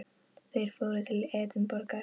Þeir fóru til Edinborgar.